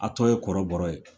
A tɔ ye kɔrɔbɔrɔ ye